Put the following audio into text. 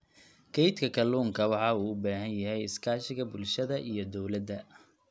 Kaydka kalluunka waxa uu u baahan yahay iskaashiga bulshada iyo dawladda.